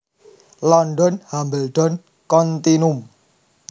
London Hambledon Continuum